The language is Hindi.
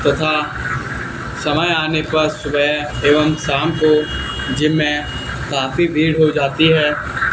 तथा समय आने पर सुबह एवं शाम को जिम में काफी भीड़ हो जाती है।